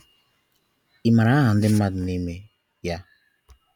Imara aha ndi mmadụ n'ime ya?